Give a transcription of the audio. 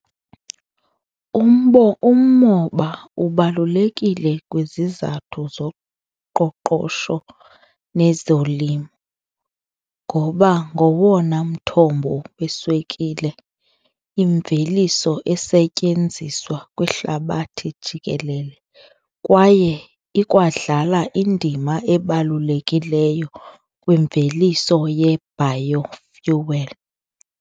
umoba ubalulekile kwizizathu zoqoqosho nezolimo ngoba ngowona mthombo weswekile, imveliso esetyenziswa kwihlabathi jikelele kwaye ikwadlala indima ebalulekileyo kwimveliso ye-bio fuel.